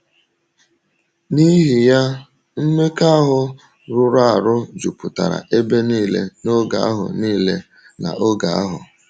N’ihi ya, mmekọahụ rụrụ arụ jupụtara ebe nile n’oge ahụ nile n’oge ahụ.